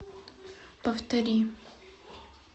повтори